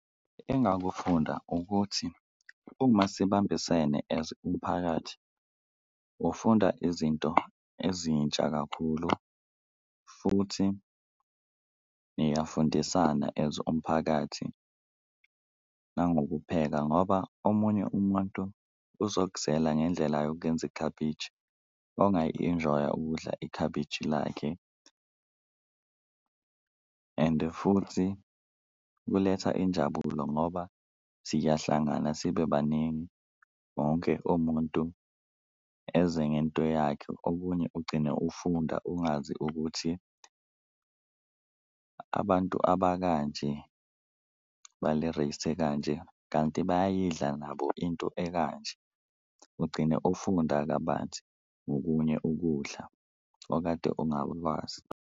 Engakufunda ukuthi uma sibambisene as umphakathi ufunda izinto ezintsha kakhulu futhi niyafundisana as umphakathi nangokupheka, ngoba omunye umuntu uzokuzela ngendlela yokuyenza ikhabishi ongayi-enjoy-a ukudla ikhabishi lakhe. Ende futhi kuletha injabulo ngoba siyahlangana sibe baningi wonke umuntu eze ngento yakhe, okunye ugcine ufunda ungazi ukuthi abantu abakanje bale race ekanje, kanti bayayidla nabo into ekanje ugcine ufunda kabanzi ngokunye ukudla okade ungakwazi.